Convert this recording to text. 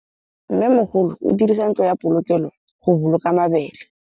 Mmêmogolô o dirisa ntlo ya polokêlô, go boloka mabele.